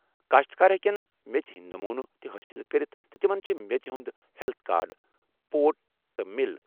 کاشتکار ہیٚکن میٚژِ ہٕنٛدۍ نمونہٕ تہِ حٲصِل کٔرِتھ تہٕ تِمَن چھِ میٚژِ ہُنٛد ہیلتھ کارڈر پورٹ تہِ مِل